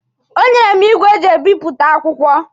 O nyere m igwe e ji ebipụta akwụkwọ.